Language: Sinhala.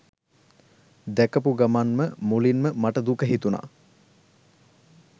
දැකපු ගමන් ම මුලින්ම මට දුක හිතුණා.